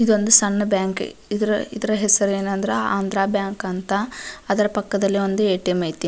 ಇದೊಂದು ಸಣ್ಣ್ ಬ್ಯಾಂಕ್ ಇದ್ರ ಹೆಸರು ಏನಂದ್ರ ಆಂದ್ರ ಬ್ಯಾಂಕ್ ಅಂತ ಅದರ ಪಕ್ಕದಲಿ ಒಂದು ಏ ಟಿ ಎಮ್ ಐತಿ.